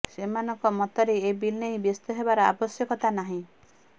ସେମାନଙ୍କ ମତରେ ଏ ବିଲ୍ ନେଇ ବ୍ୟସ୍ତହେବାର ଆବଶ୍ୟକତା ନାହିଁ